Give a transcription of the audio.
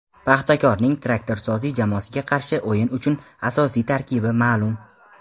"Paxtakor"ning "Traktorsozi" jamoasiga qarshi o‘yin uchun asosiy tarkibi ma’lum.